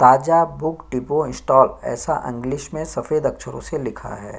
ताजा book depot stall ऐसा English में सफ़ेद अछरो से लिखा है ।